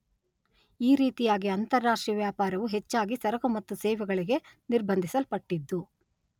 ಈ ರೀತಿಯಾಗಿ ಅಂತಾರಾಷ್ಟ್ರೀಯ ವ್ಯಾಪಾರವು ಹೆಚ್ಚಾಗಿ ಸರಕು ಮತ್ತು ಸೇವೆಗಳಿಗೆ ನಿರ್ಬಂಧಿಸ್ಪಲ್ಪಟ್ಟಿದ್ದು